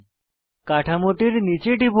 কাঠামোটির নীচে টিপুন